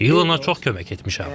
İlona çox kömək etmişəm.